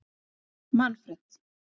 Manfred